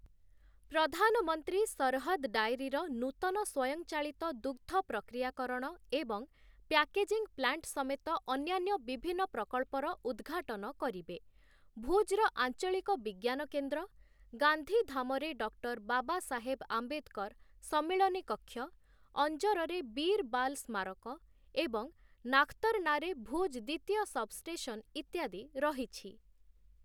ପ୍ରଧାନମନ୍ତ୍ରୀ ସରହଦ ଡାଏରୀର ନୂତନ ସ୍ୱୟଂଚାଳିତ ଦୁଗ୍ଧ ପ୍ରକ୍ରିୟାକରଣ ଏବଂ ପ୍ୟାକେଜିଂ ପ୍ଲାଣ୍ଟ ସମେତ ଅନ୍ୟାନ୍ୟ ବିଭିନ୍ନ ପ୍ରକଳ୍ପର ଉଦଘାଟନ କରିବେ । ଭୁଜ୍‌ର ଆଞ୍ଚଳିକ ବିଜ୍ଞାନ କେନ୍ଦ୍ର, ଗାନ୍ଧୀଧାମରେ ଡକ୍ଟର ବାବା ସାହେବ ଆମ୍ବେଦକର ସମ୍ମିଳନୀ କକ୍ଷ, ଅଞ୍ଜରରେ ବୀର ବାଲ୍ ସ୍ମାରକ ଓ ନାଖତରନାରେ ଭୁଜ୍ ଦ୍ୱିତୀୟ ସବଷ୍ଟେସନ୍ ଇତ୍ୟାଦି ରହିଛି ।